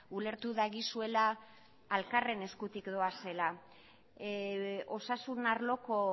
ulertu dagizuela elkarren eskutik doazela osasun arloko